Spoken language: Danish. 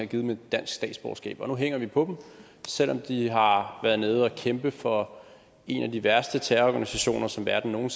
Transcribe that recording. givet dem et dansk statsborgerskab og nu hænger vi på dem selv om de har været nede og kæmpe for en af de værste terrororganisationer som verden nogen